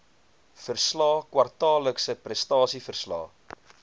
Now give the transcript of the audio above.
verslae kwartaallikse prestasieverslae